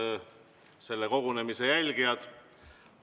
Head selle kogunemise jälgijad!